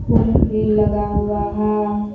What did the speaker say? भी लगा हुआ है।